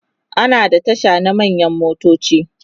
ana da Tasha na manyan motoci